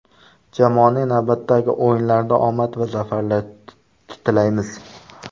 Jamoaning navbatdagi o‘yinlarida omad va zafarlar tilaymiz.